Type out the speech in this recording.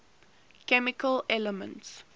chemical elements